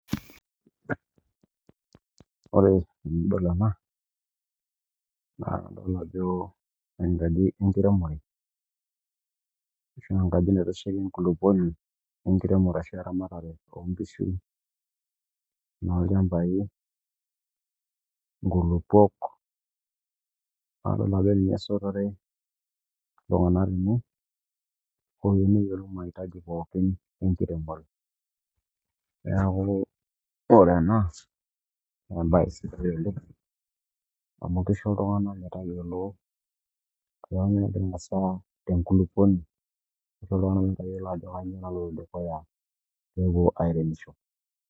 Ore tenidol ena naa adol Jo enkaji enkiremore ashua enkaji naitasheki enkulupuoni enkiremore ashua eramatare oonkishu onoolchambai onkulupuok adol ajo ninye esotore iltung'anak tene ooyieu neyiolou mahitaji pookin enkiremore neeku ore ena naa embaye sidai oleng amu keisho iltung'anak metayiolo ajo kanyioo nagira aasa tenkulupuoni ashuu indiim atayiolo ajo kanyioo naloito dukuya peepuo airemisho.